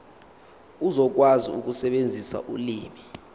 uzokwazi ukusebenzisa ulimi